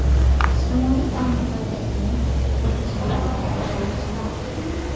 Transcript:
Ijtimoiy tarmoqlarda eng ko‘p obunachiga ega futbolchilar: !